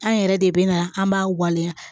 An yɛrɛ de bɛ na an b'a waleya